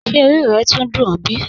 Ṣé ọ̀rí rẹ́ túńń dùn ọ̀ bí?